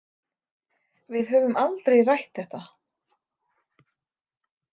Við höfum aldrei rætt þetta.